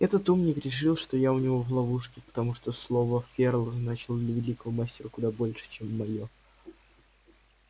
этот умник решил что я у него в ловушке потому что слово ферла значило для великого мастера куда больше чем моё